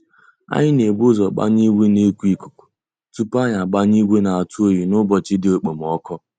Anyị na ebu ụzọ gbanye ìgwè na eku ikuku tupu anyị agbanye ìgwè na atụ oyi n'ụbọchị dị okpomoko